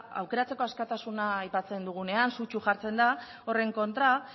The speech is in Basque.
aukeratzeko askatasuna aipatzen dugunean sutsu jartzen da horren kontra